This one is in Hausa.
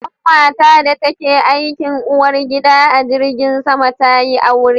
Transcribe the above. Ƙanwata da ta ke aikin uwar gida a jirgin sama ta yi aure